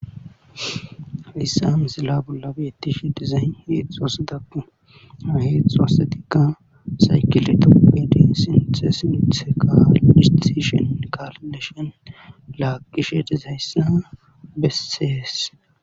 Lissan sila bollabettish dizay heexxuassidakku haheexu assetikka saykileto pedin sinte sinte kalistishen kalleshon laaqishe dizayssa bessees.